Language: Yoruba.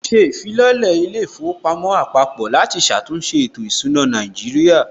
Wọn ṣe ìfilọ́lẹ̀ ilé īfowòpamó àpapò láti ṣàtúnṣe ètò ìsúná Nàíjírìà